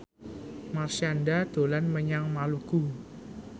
Marshanda dolan menyang Maluku